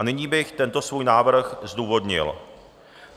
A nyní bych tento svůj návrh zdůvodnil.